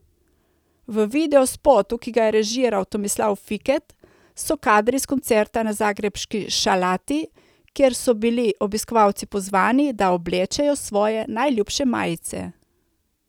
V videospotu, ki ga je režiral Tomislav Fiket, so kadri s koncerta na zagrebški Šalati, kjer so bili obiskovalci pozvani, da oblečejo svoje najljubše majice.